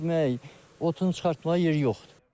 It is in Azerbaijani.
Onu güdməyə, otunu çıxartmağa yeri yoxdur.